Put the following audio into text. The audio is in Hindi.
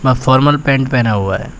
वह फॉर्मल पैंट पहना हुआ है।